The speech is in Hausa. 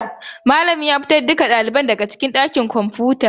Malamin ya fitar da dukkan ɗaliban daga ɗakin kwamfuta.